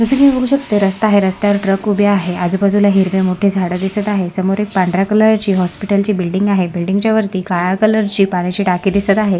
जस की तुम्ही बघू शकता रस्ता आहे रस्त्या वर ट्रक उभी आहे आजूबाजूला हिरवी मोठी झाड दिसत आहे समोर एक पांढऱ्या कलर ची हॉस्पिटल ची बिल्डिंग आहे बिल्डिंग च्या वरती काळ्या कलर ची पाण्याची टाकी दिसत आहे.